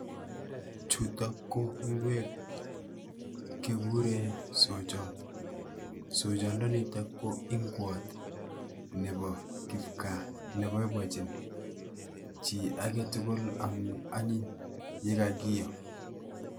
Chutok ko ingwek kikuuren isooyot, isooyondonitok ko ingwot Nebo kipgaa, neboiboiinyin chii agetugul amun Antony ye kakiyoo